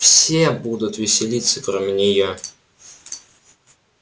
все будут веселиться кроме неё